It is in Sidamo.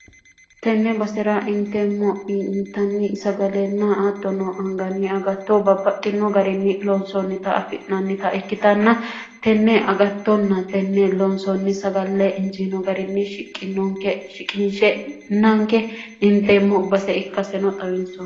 tenne basera inteemmo itanni sagalenna attono hanganni agatto babbaxxino garinni loonsoonnita affi'nannita ikkitanna tenne agattonna tenne loonsoonni sagalle injiino garinni shiqinonke shiqiinshe nanke inteemmo base ikkaseno xawinson